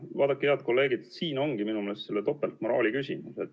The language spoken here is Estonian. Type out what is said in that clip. Vaadake, head kolleegid, siin ongi minu meelest tegu topeltmoraaliga.